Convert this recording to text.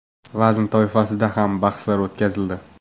vazn toifasida ham bahslar o‘tkazildi.